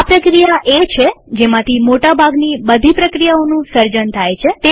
આ પ્રક્રિયા એ છે જેમાંથી મોટા ભાગની બધી પ્રક્રિયાઓનું સર્જન થાય છે